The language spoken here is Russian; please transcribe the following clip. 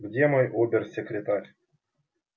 где мой обер-секретарь